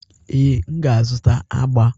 Ee, m ga-azụta agba.